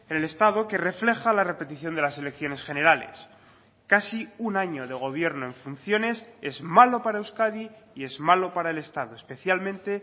el estado que refleja la repetición de las elecciones generales casi un año de gobierno en funciones es malo para euskadi y es malo para el estado especialmente